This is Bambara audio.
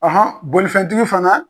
bolifɛntigi fana.